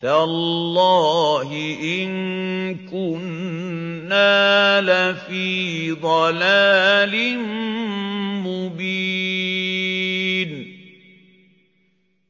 تَاللَّهِ إِن كُنَّا لَفِي ضَلَالٍ مُّبِينٍ